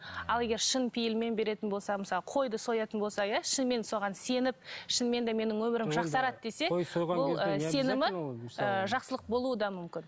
ал егер шын пейілмен беретін болса мысалы қойды соятын болса иә шынымен соған сеніп шынымен де менің өмірім жақсарады десе бұл ы сенімі ы жақсылық болуы да мүмкін